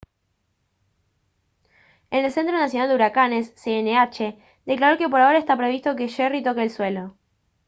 el centro nacional de huracanes cnh declaró que por ahora está previsto que jerry toque el suelo